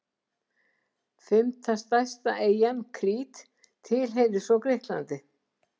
Fimmta stærsta eyjan, Krít, tilheyrir svo Grikklandi.